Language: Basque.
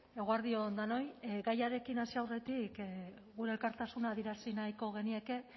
eguerdi on denoi gaiarekin hasi aurretik gure elkartasuna adierazi nahiko genieke